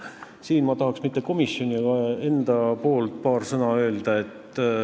Siinkohal ma tahaks öelda paar sõna mitte komisjoni, vaid enda nimel.